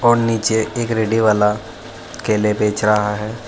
और नीचे एक रेडी वाला केले बेच रहा है।